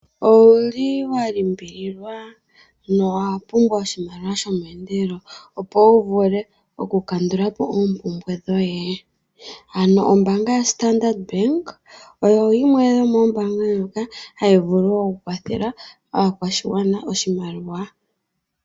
Owuli walimbiliwa na owapumbwa oshimaliwa shomeendelelo opo wuvule okukandula po oompumbwe dhoye? Ano ombaanga yaStandard oyo yimwe yomoombaanga ndjoka hayi vulu okukwathela aakwashigwana oshimaliwa.